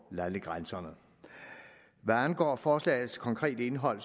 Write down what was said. landegrænserne hvad angår forslagets konkrete indhold